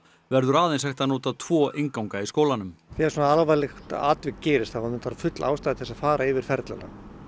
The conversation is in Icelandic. verður aðeins að hægt að nota tvo innganga í skólanum þegar svona alvarlegt atvik gerist þá er full ástæða til að fara yfir ferlana